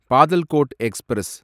Patalkot express